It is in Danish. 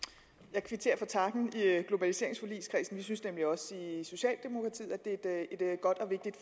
jeg kvitterer for takken i globaliseringsforligskredsen vi synes nemlig også i socialdemokratiet at det her er et godt